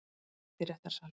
Mætt í réttarsalinn